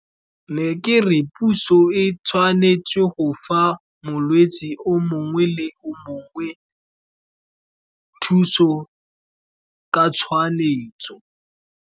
Ne ke re puso e tshwanetse go fa molwetsi o mongwe le o mongwe thuso ka .